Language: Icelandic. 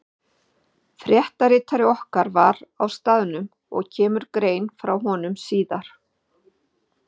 Fréttaritari okkar var á staðnum og kemur grein frá honum síðar.